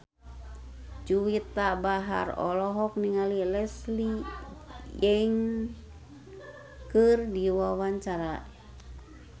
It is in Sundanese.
Juwita Bahar olohok ningali Leslie Cheung keur diwawancara